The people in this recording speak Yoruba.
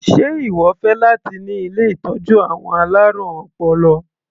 Sé ìwọ fẹ́ láti ṣiṣẹ́ ní ilé ìtọ́jú àwọn alárùn ọpọlọ?